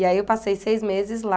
E aí eu passei seis meses lá.